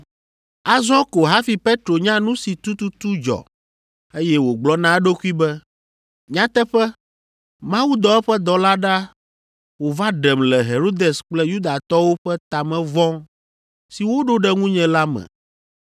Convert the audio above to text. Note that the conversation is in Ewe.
Azɔ ko hafi Petro nya nu si tututu dzɔ, eye wògblɔ na eɖokui be, “Nyateƒe, Mawu dɔ eƒe dɔla ɖa wòva ɖem le Herodes kple Yudatɔwo ƒe ta me vɔ̃ si woɖo ɖe ŋunye la me.”